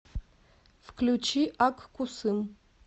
включи ак кусым